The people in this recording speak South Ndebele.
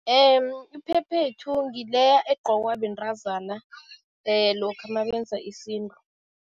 Iphephethu ngileya egqokwa bentazana lokha nabenza isintu.